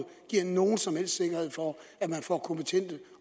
giver nogen som helst sikkerhed for at man får kompetente